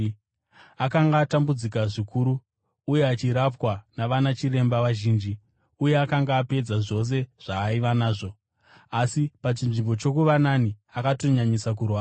Akanga atambudzika zvikuru uye achirapwa navanachiremba vazhinji uye akanga apedza zvose zvaaiva nazvo, asi pachinzvimbo chokuva nani akatonyanyisa kurwara.